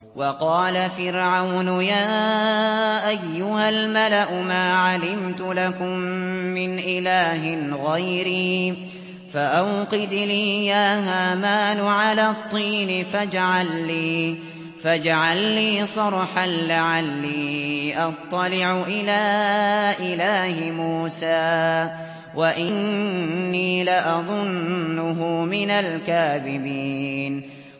وَقَالَ فِرْعَوْنُ يَا أَيُّهَا الْمَلَأُ مَا عَلِمْتُ لَكُم مِّنْ إِلَٰهٍ غَيْرِي فَأَوْقِدْ لِي يَا هَامَانُ عَلَى الطِّينِ فَاجْعَل لِّي صَرْحًا لَّعَلِّي أَطَّلِعُ إِلَىٰ إِلَٰهِ مُوسَىٰ وَإِنِّي لَأَظُنُّهُ مِنَ الْكَاذِبِينَ